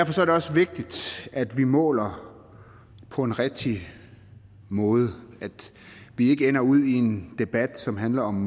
også vigtigt at vi måler på en rigtig måde at vi ikke ender ud i en debat som handler om